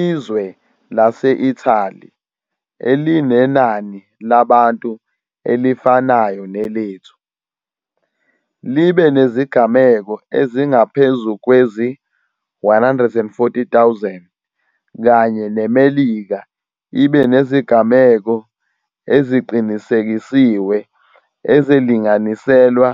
Izwe lase-Italy, elinenani labantu elifanayo nelethu, libe nezigameko ezingaphezu kwezi-140 000 kanye neMelika ibe nezigameko eziqinisekisiwe ezilinganiselwa